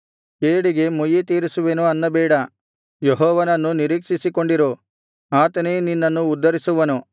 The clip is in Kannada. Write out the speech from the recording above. ಕೇಡಿಗೆ ಮುಯ್ಯಿತೀರಿಸುವೆನು ಅನ್ನಬೇಡ ಯೆಹೋವನನ್ನು ನಿರೀಕ್ಷಿಸಿಕೊಂಡಿರು ಆತನೇ ನಿನ್ನನ್ನು ಉದ್ಧರಿಸುವನು